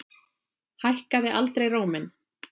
Hækkaði aldrei róminn.